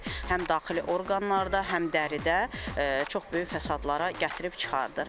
Həm daxili orqanlarda, həm dəridə çox böyük fəsadlara gətirib çıxardır.